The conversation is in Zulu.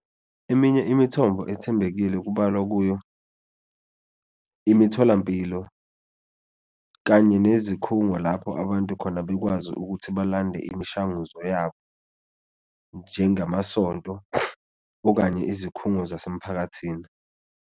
Eminye imithombo ethembekile kubalwa kuyo imitholampilo kanye nezikhungo lapho abantu khona bekwazi ukuthi balande imishanguzo yabo njengamasonto okanye izikhungo zasemphakathini.